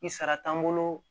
Ni sara t'an bolo